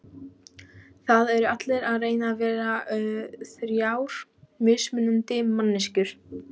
Það eru allir að reyna að vera þrjár mismunandi manneskjur.